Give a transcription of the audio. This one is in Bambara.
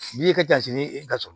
N'i ye kɛjini ye i ka so